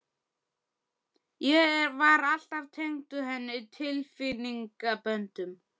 Ég var alltaf tengdur henni tilfinningaböndum.